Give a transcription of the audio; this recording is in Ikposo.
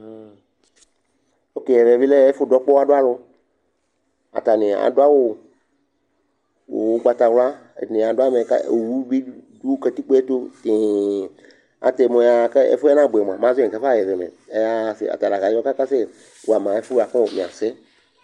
Ok ɛvɛ bɩ lɛ ɛfʋdʋ ɔɣa dʋ alʋ Atanɩ adʋ awʋwɛ nʋ ʋgbatawla Ɛdɩnɩ adʋ amɛ kʋ owu bɩ dʋ katikpo yɛ tʋ tɩɩ atɛ mʋ ɛyaɣa kʋ ɛfʋ yɛ nabʋɛ mʋa, mɛ azɔ yɛ nʋ kɛfaɣa ɛfɛ mɛ Ɛyaɣa sɛ ata la kazɔ kakasɛwa ma ɛfʋ yɛ bʋa kʋ ɔ mɩasɛ